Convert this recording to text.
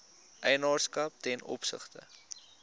eienaarskap ten opsigte